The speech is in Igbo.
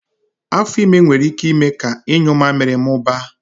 Afo ime nwere ike ime ka inyu mmamịrị mụbaa